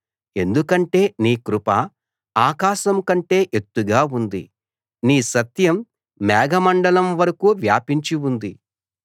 ఎందుకంటే నీ కృప ఆకాశం కంటే ఎత్తుగా ఉంది నీ సత్యం మేఘమండలం వరకూ వ్యాపించి ఉంది